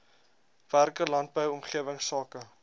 werke landbou omgewingsake